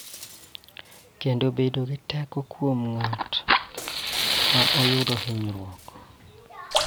Kendo bedo gi teko kuom ng�at ma oyudo hinyruok.